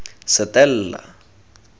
setella